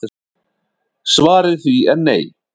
Svarið við því er nei